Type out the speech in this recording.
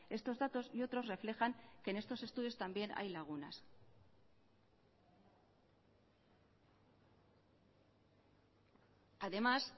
estos datos y otros reflejan que en estos estudios también hay lagunas además